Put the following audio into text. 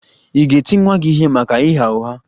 Ị̀ ga-eti nwa gị ihe maka ịgha ụgha?